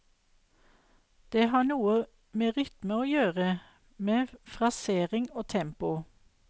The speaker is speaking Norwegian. Det har noe med rytme å gjøre, med frasering og tempo.